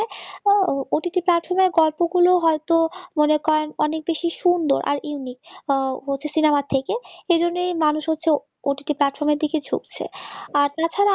OTT platform গল্পগুলো হয়তো মনে করেন অনেক বেশি সুন্দর আর unique হচ্ছে cinema থেকে সেজন্যই মানুষ হচ্ছে ott platform র দিকে ঝুকছে, আর তাছাড়া